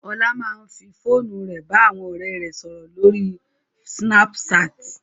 Ọlá máa ń fòru rẹ̀ bá àwọn ọ̀rẹ́ rẹ̀ sọ̀rọ̀ lórí Snapchat